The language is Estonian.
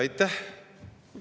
Aitäh!